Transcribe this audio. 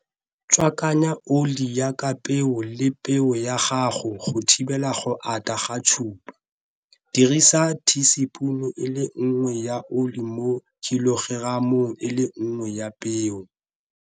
Tswakanya oli ya kapeo le peo ya gago go thibela go ata ga tshupa. Dirisa thiisipune e le nngwe ya oli mo khilogeramong e le nngwe ya peo.